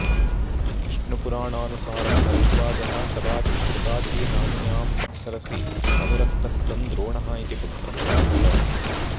विष्णुपुराणानुसारं भरद्वाजः कदाचित् घृताची नाम्न्याम् अप्सरसि अनुरक्तः सन् द्रोणः इति पुत्रम् अवाप